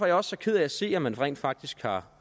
jeg også så ked af at se at man rent faktisk har